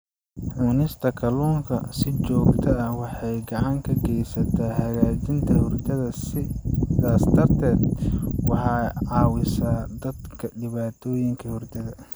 Cunista kalluunka si joogto ah waxay gacan ka geysataa hagaajinta hurdada, sidaas darteed waxay caawisaa dadka dhibaatooyinka hurdada.